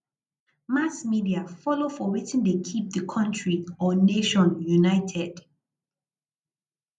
mass media follow for wetin de keep di country or nation united